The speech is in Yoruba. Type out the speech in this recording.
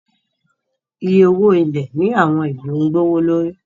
Iye owo ilẹ ni awọn ilu gbowolori